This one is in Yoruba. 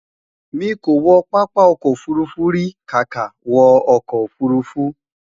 mí kò wo pápá ọkọ̀ òfurufú ríi kàkà wo ọkọ ofurufu